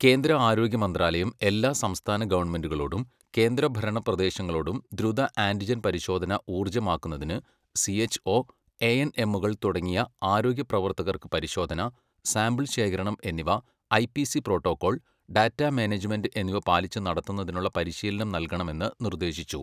കേന്ദ്ര ആരോഗ്യ മന്ത്രാലയം എല്ലാ സംസ്ഥാന ഗവണ്മെന്റുകളോടും കേന്ദ്ര ഭരണ പ്രദേശങ്ങളോടും ദ്രുത ആന്റിജൻ പരിശോധന ഊർജമാക്കുന്നതിന് സിഎച്ച്ഒ, എഎൻഎമ്മുകൾ തുടങ്ങിയ ആരോഗ്യ പ്രവർത്തകർക്ക് പരിശോധന, സാമ്പിൾ ശേഖരണം എന്നിവ ഐപിസി പ്രോട്ടോക്കോൾ, ഡാറ്റ മാനേജ്മെന്റ് എന്നിവ പാലിച്ച് നടത്തുന്നതിനുളള പരിശീലനം നൽകണമെന്ന് നിർദ്ദേശിച്ചു.